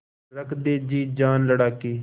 रख दे जी जान लड़ा के